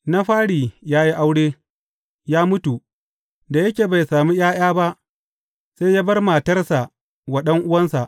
Na fari ya yi aure, ya mutu, da yake bai sami ’ya’ya ba, sai ya bar matarsa wa ɗan’uwansa.